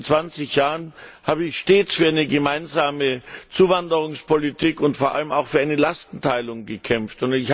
In diesen 20Jahren habe ich stets für eine gemeinsame Zuwanderungspolitik und vor allem auch für eine Lastenteilung gekämpft.